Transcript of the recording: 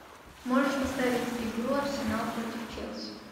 можешь поставить игру арсенал против челси